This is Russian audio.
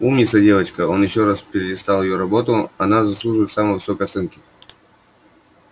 умница девочка он ещё раз перелистал её работу она заслуживает самой высокой оценки